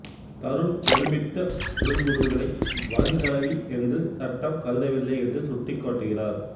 தருண் ஒருமித்த உடல் உறவுகளை வன்கலவி என்று சட்டம் கருதவில்லை என்று சுட்டிக்காட்டுகிறார்